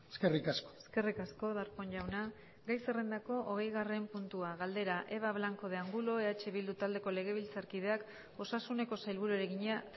eskerrik asko eskerrik asko darpón jauna gai zerrendako hogeigarren puntua galdera eva blanco de angulo eh bildu taldeko legebiltzarkideak osasuneko sailburuari egina